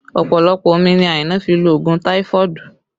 Ọpọlọpọ omi ni Aina fi lo òògùn táífọ̀dù